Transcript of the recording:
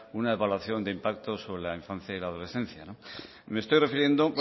una evaluación de impacto sobre la infancia y la adolescencia me estoy refiriendo